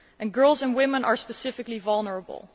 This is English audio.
Girls and women are especially vulnerable.